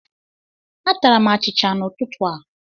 Atara m achịcha n'ụtụtụ a.